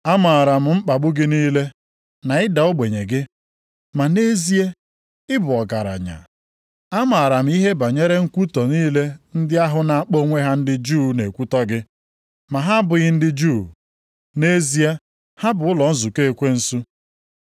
Amaara m mkpagbu gị niile na ịda ogbenye gị. Ma nʼezie, ị bụ ọgaranya. Amaara m ihe banyere nkwutọ niile ndị ahụ na-akpọ onwe ha ndị Juu na-ekwutọ gị, ma ha abụghị ndị Juu, nʼezie ha bụ ụlọ nzukọ ekwensu.